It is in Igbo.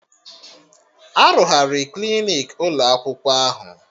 Arụgharị Klinik ụlọ akwụkwọ ahụ